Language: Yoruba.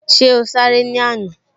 Ṣé o sáré ní àná?